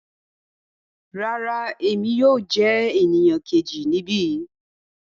Rárá, Emi yóò jẹ eniyan keji nibi